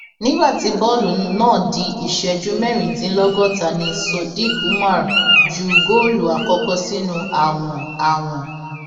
nígbà tí bọọlù náà di ìṣẹjú mẹrìndínlọgọta ni sodiq umar ju góòlù àkọkọ sínú àwọn àwọn